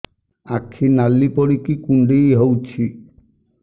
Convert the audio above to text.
ଆଖି ନାଲି ପଡିକି କୁଣ୍ଡେଇ ହଉଛି